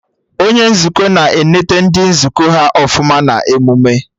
Onye Nzukọ na eneta ndị nzukọ ha ọfụma na emụme